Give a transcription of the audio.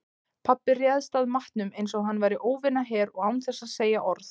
Pabbi réðst að matnum einsog hann væri óvinaher og án þess að segja orð.